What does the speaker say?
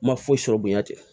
Ma foyi sɔrɔ bonya tɛ